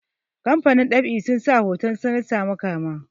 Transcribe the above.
kamafanin ɗab'i sun sa hoton sananta makama